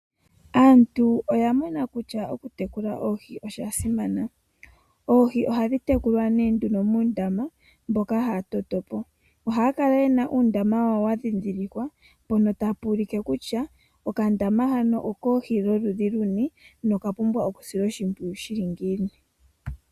Aantu oyamona kutya oku tekula oohi osha simana ,oohi oha dhi tekulwa ne nduno muundama mboka haya to to po, oha ya kala ye na uundama wa wo wa dhidhilikwa mpono ta pu ulike kutya okandama hano okoohi dholudhi luni na okapumbwa okusilwa oshipwiyu shili ngiini.